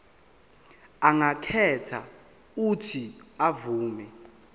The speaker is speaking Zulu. angakhetha uuthi avume